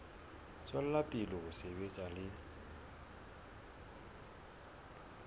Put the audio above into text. tswela pele ho sebetsa le